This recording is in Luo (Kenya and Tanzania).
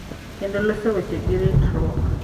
Kendo loso weche gi ritruok,